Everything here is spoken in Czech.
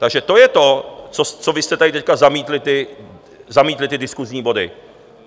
Takže to je to, co vy jste teď tady zamítli, ty diskusní body.